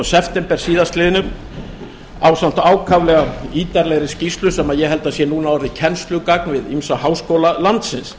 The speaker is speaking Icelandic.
september síðastliðinn ásamt ákaflega ítarlegri skýrslu sem ég held að sé núna orðið kennslugagn við ýmsa háskóla landsins